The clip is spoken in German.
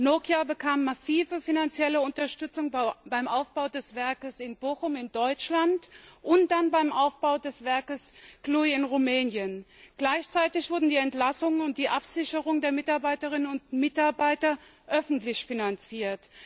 Nokia bekam massive finanzielle Unterstützung beim Aufbau des Werkes in Bochum in Deutschland und dann beim Aufbau des Werkes Cluj in Rumänien. Gleichzeitig wurden die Entlassungen und die Absicherung der Mitarbeiterinnen und Mitarbeiter öffentlich finanziert.